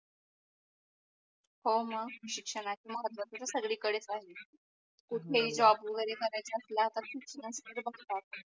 हो मग शिक्षणाचे महत्व आता सगडी पहिजे कुठले ही जॉब वगेरे काऱ्याच असला तर शिक्षणच तर बगतात